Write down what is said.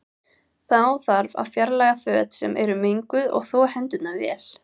Þá þarf að fjarlæga föt sem eru menguð og þvo hendurnar vel.